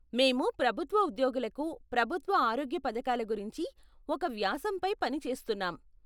మేము ప్రభుత్వ ఉద్యోగులకు ప్రభుత్వ ఆరోగ్య పధకాల గురించి ఒక వ్యాసంపై పని చేస్తున్నాం.